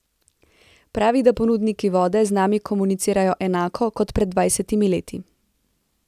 Pravi, da ponudniki vode z nami komunicirajo enako, kot pred dvajsetimi leti.